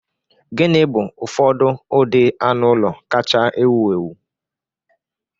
Gịnị bụ ụfọdụ ụdị anụ ụlọ kacha ewu ewu?